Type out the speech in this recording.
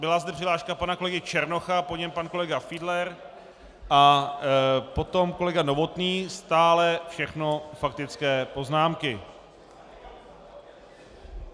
Byla zde přihláška pana kolegy Černocha, po něm pan kolega Fiedler a potom kolega Novotný, stále všechno faktické poznámky.